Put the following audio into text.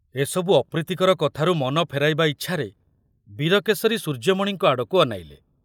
ଏସବୁ ଅପ୍ରୀତିକର କଥାରୁ ମନ ଫେରାଇବା ଇଚ୍ଛାରେ ବୀରକେଶରୀ ସୂର୍ଯ୍ୟମଣିଙ୍କ ଆଡ଼କୁ ଅନାଇଲେ।